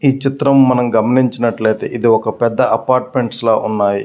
ఈ చిత్రం మనం గమనించినట్లైతే ఇది ఒక పెద్ధ అపార్ట్మెంట్స్ లా ఉన్నాయి.